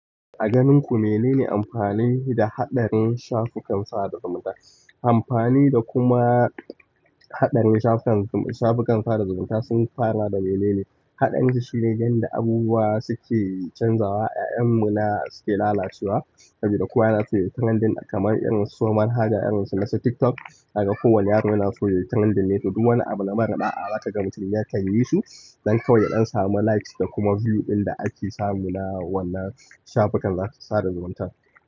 A ganin ku menene amfanin da haɗarin shafukan sa da zumunta amfani da kuma haɗarin shafukan sa da zumunta sun fara da mene ne? Haɗarin shi ne yanda abubuwa suke canzawa, ƴaƴanmu na suke lalacewa, sabida kowa yana so yayi trendin kamar irin su manhaja irinsu nasu TikTok, za kaga kowane yaro yana so yayi trendin ne, to duk wani abu na marar da'a za kaga mutum ya kan yi su don kawai ya don samu likes da kuma view ɗin da ake samu na wannan shafukan sada zumunta.